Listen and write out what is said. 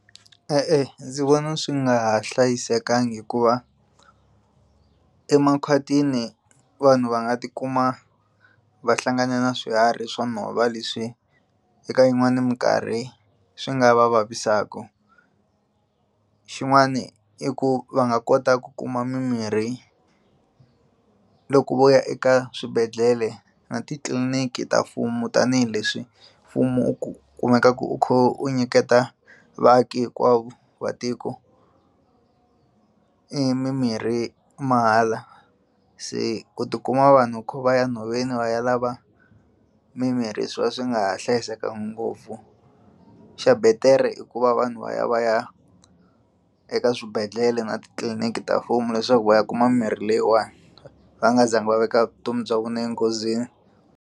E-e, ndzi vona swi nga ha hlayisekangi hikuva emakhwatini vanhu va nga tikuma va hlangane na swiharhi swa nhova leswi eka yin'wani mikarhi swi nga va vavisaka xin'wani i ku va nga kota ku kuma mimirhi loko vo ya eka swibedhlele na titliliniki ta mfumo tanihileswi mfumo u ku kumekaku u kha u nyiketa vaaki hinkwavo va tiko i mimirhi mahala se ku tikuma vanhu kho vaya nhoveni va ya lava mimirhi swi va swi nga ha hlayisekangi ngopfu xa betere i ku va vanhu va ya va ya eka swibedhlele na titliliniki ta mfumo leswaku va ya kuma mirhi leyiwani va nga zangi va veka vutomi bya vona enghozini.